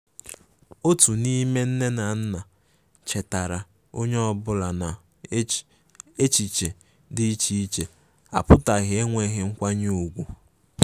Otu n'ime nne na nna chetaara onye ọbụla na echichi dị iche iche apụtaghi enweghi nkwanye ùgwù.